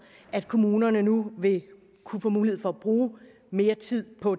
at kommunerne nu vil kunne få mulighed for at bruge mere tid på